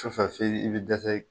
Sufɛ f'i bɛ dɛsɛ